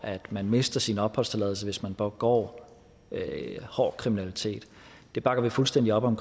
man mister sin opholdstilladelse hvis man begår hård kriminalitet det bakker vi fuldstændig op om